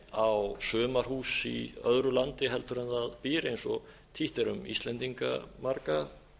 á sumarhús í öðru landi heldur en það býr eins og títt er um íslendinga marga